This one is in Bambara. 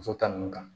Muso ta ninnu kan